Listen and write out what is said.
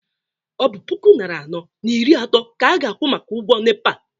ọ bụ puku nari anọ na iri atọ ka a ga-akwụ maka ụgwọ nepa?